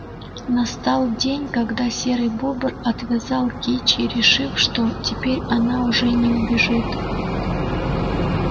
настал день когда серый бобр отвязал кичи решив что теперь она уже не убежит